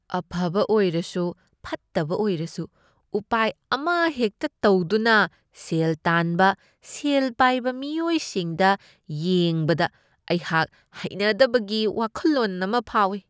ꯑꯐꯕ ꯑꯣꯏꯔꯁꯨ ꯐꯠꯇꯕ ꯑꯣꯏꯔꯁꯨ ꯎꯄꯥꯏ ꯑꯃꯍꯦꯛꯇ ꯇꯧꯗꯨꯅ ꯁꯦꯜ ꯇꯥꯟꯕ ꯁꯦꯜ ꯄꯥꯏꯕ ꯃꯤꯑꯣꯏꯁꯤꯡꯗ ꯌꯦꯡꯕꯗ, ꯑꯩꯍꯥꯛ ꯍꯩꯅꯗꯕꯒꯤ ꯋꯥꯈꯜꯂꯣꯟ ꯑꯃ ꯐꯥꯎꯏ꯫